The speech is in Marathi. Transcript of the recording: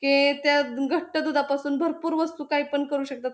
हे त्या द घट्ट दुधापासून भरपूर वस्तू काही पण करू शकतात.